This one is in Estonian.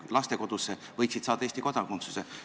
Otsustati, et need lapsed võiksid saada Eesti kodakondsuse.